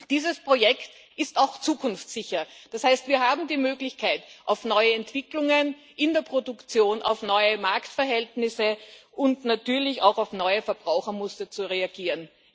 Dieses Projekt ist auch zukunftssicher, das heißt, wir haben die Möglichkeit, auf neue Entwicklungen in der Produktion, auf neue Marktverhältnisse und natürlich auch auf neue Verbrauchermuster zu reagieren.